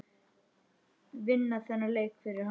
Vinna þennan leik fyrir hann!